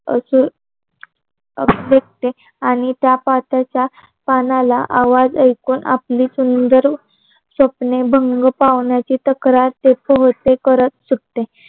अजून आणि त्या पात्याच्या पानाला आवाज ऐकून आपली सुंदर स्वप्ने भंग पाडण्याचे तक्रार ते करत सुटते